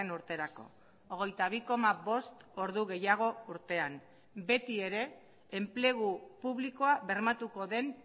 urterako hogeita bi koma bost ordu gehiago urtean beti ere enplegu publikoa bermatuko den